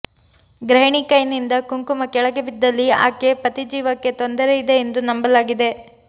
ಗೃಹಿಣಿ ಕೈನಿಂದ ಕುಂಕುಮ ಕೆಳಗೆ ಬಿದ್ದಲ್ಲಿ ಆಕೆ ಪತಿ ಜೀವಕ್ಕೆ ತೊಂದರೆಯಿದೆ ಎಂದು ನಂಬಲಾಗಿದೆ